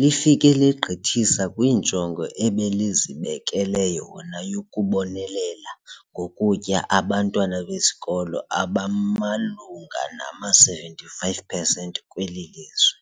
lifike legqithisa kwinjongo ebelizibekele yona yokubonelela ngokutya abantwana besikolo abamalunga nama-75 percent kweli lizwe.